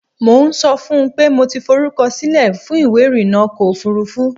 Mo ń sọ fún un pé mo ti forúkọsílẹ̀ fún ìwé irànà ọkọ̀ ofurufú.